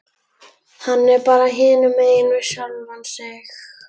Hann er bara hinumegin við sjálfan sig.